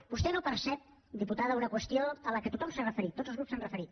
vostè no percep diputada una qüestió a la qual tothom s’ha referit tots els grups s’hi han referit